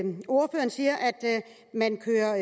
man kører